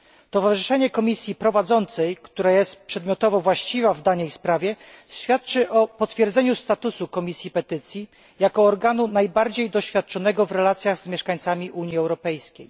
Towarzyszenie komisji prowadzącej, która jest przedmiotowo właściwa w danej sprawie, świadczy o potwierdzeniu statusu Komisji Petycji jako organu najbardziej doświadczonego w relacjach z mieszkańcami Unii Europejskiej.